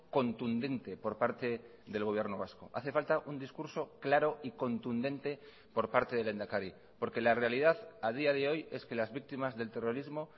contundente por parte del gobierno vasco hace falta un discurso claro y contundente por parte del lehendakari porque la realidad a día de hoy es que las víctimas del terrorismo